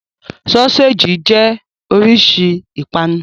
Sọ́séjì jẹ́ oríṣi ìpanu.